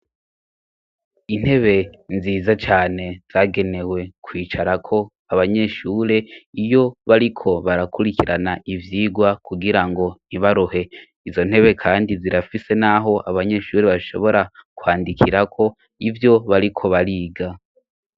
Intebe nziza cane zagenewe kwicarako abanyeshure iyo bariko barakurikirana ivyigwa, kugira ngo ntibaruhe izo ntebe kandi zirafise n'aho abanyeshuri bashobora kwandikirako ivyo bariko bariga.